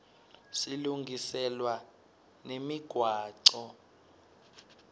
silungiselwa nemigwaco